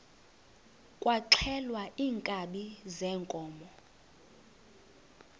kwaxhelwa iinkabi zeenkomo